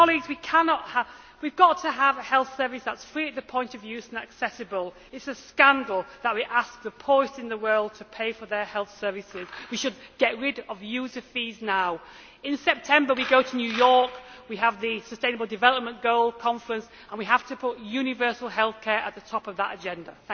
We have got to have a health service that is free at the point of use and accessible. It is a scandal that we ask the poorest in the world to pay for their health services. We should get rid of user fees now. In September we go to New York, we have the sustainable development goals conference, and we have to put universal health care at the top of that agenda.